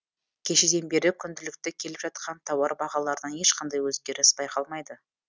кешеден бері күнділікті келіп жатқан тауар бағаларынан ешқандай өзгеріс байқалмайды